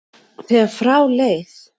þegar frá leið.